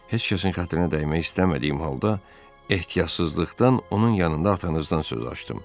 Heç kəsin xətrinə dəymək istəmədiyim halda ehtiyatsızlıqdan onun yanında atanızdan söz açdım.